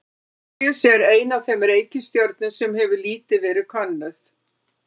Merkúríus er ein af þeim reikistjörnum sem hefur lítið verið könnuð.